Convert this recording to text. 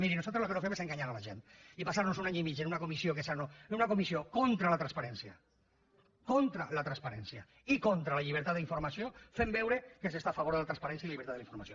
miri nosaltres el que no fem és enganyar la gent i passar nos un any i mig en una comissió contra la transparència contra la transparència i contra la llibertat d’informació fent veure que s’està a favor de la transparència i la llibertat de la informació